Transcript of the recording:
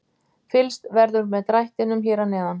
Fylgst verður með drættinum hér að neðan.